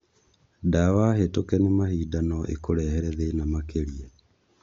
Ndawa hĩtuke nĩ mahinda nó ikũrehere thĩna makĩrĩa.